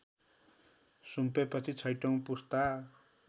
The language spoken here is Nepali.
सुम्पेपछि छैँठो पुस्ता